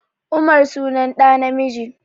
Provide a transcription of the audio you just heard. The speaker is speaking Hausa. Umar sunan ɗa namiji